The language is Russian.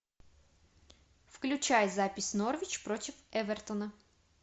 включай запись норвич против эвертона